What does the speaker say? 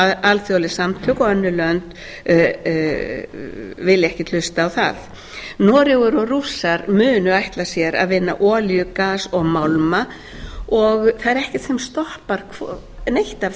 alþjóðleg samtök og önnur lönd vilja ekkert hlusta á það noregur og rússar munu ætla sér að vinna olíu gas og málma og það er ekkert sem stoppar neitt af þessu